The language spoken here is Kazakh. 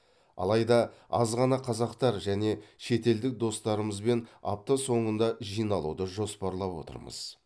алайда аз ғана қазақтар және шетелдік достарымызбен апта соңында жиналуды жоспарлап отырмыз